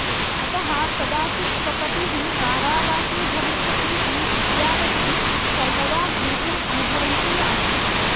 अतः कदाचित् स्वपतिः कारावासी भविष्यतीति विद्यावती सर्वदा भीतिम् अनुभवन्ती आसीत्